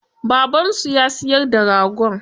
Babansu ya siyar da ragon?